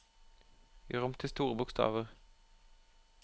Gjør om til store bokstaver